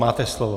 Máte slovo.